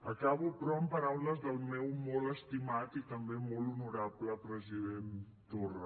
acabo però amb paraules del meu molt estimat i també molt honorable president torra